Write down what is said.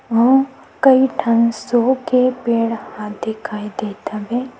वहाँ कई ठन शो के पेड़ ह दिखाई दत हवे।